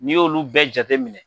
N'i y'olu bɛɛ jateminɛ